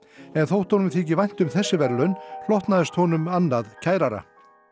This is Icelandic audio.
en þótt honum þyki vænt um þessi verðlaun hlotnaðist honum annað kærara